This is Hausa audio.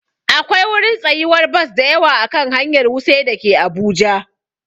Akwai wurin tsayuwar bas dayawa a kan hanyar wuse dake abuja